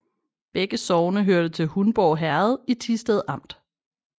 Begge sogne hørte til Hundborg Herred i Thisted Amt